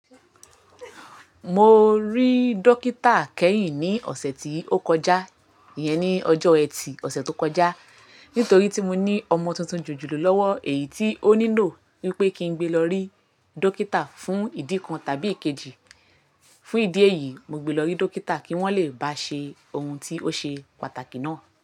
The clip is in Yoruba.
Mo rí dókítà kẹ́yìn ní ọ̀sẹ̀ tí ó kọjá, iyẹn ni ọjọ́ Ẹtì, ọ̀sẹ̀ tó kọjá. Nítorí tí mo ní ọmọ tuntun jojolo lọ́wọ́ èyí tí ó nílò wípé kí n gbe lọ rí dókítà fún ìdí kan tàbí ikejì. Fún ìdí èyí, mo gbe lọ rí dókítà kí wón le bá ṣe ohun tí ó ṣe pàtàkì náà.